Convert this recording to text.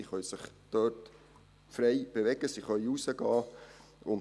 Sie können sich dort frei bewegen, sie können hinausgehen.